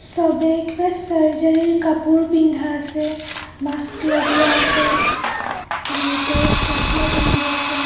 চবেই কিবা ছাৰ্জাৰী ৰ কাপোৰ পিন্ধা আছে মাস্ক লগোৱা আছে বহুতে চচমা পিন্ধি আছে.